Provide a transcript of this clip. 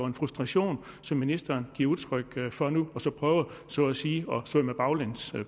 en frustration som ministeren giver udtryk for nu og så at sige prøver at svømme baglæns